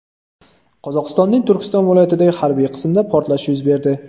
Qozog‘istonning Turkiston viloyatidagi harbiy qismda portlash yuz berdi .